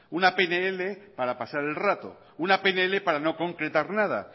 una pnl para pasar el rato una pnl para no concretar nada